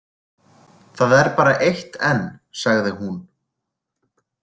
Það er bara eitt enn, sagði hún.